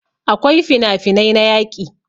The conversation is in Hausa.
akwai finafinai na yaƙi